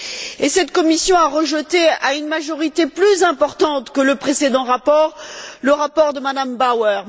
Et cette commission a rejeté, à une majorité plus importante que le précédent rapport, le rapport de M me Bauer.